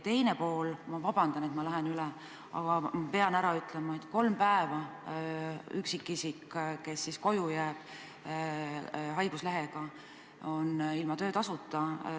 Ma palun vabandust, et lähen ajast üle, aga pean ära ütlema ka selle, et üksikisik, kes jääb koju haiguslehele, on kolm päeva ilma töötasuta.